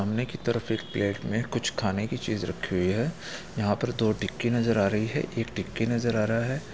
सामने की तरफ एक प्लेट में कुछ खाने की चीज रखी हुई है यहाँ पर दो टिक्की नजर आ रही है एक टिक्की नजर आ रहा है।